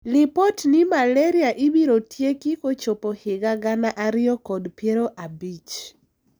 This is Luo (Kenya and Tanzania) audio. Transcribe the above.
Lipot ni malaria ibiro tieki kochopo higa gana ariyo kod piero abich .